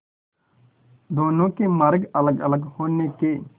दोनों के मार्ग अलगअलग होने के